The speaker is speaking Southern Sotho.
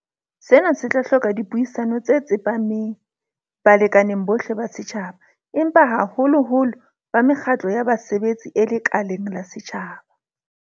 Sena se tla hloka dipuisano tse tsepameng balekaneng bohle ba setjhaba, empa haholoholo ba mekgatlong ya basebetsi e lekaleng la setjhaba.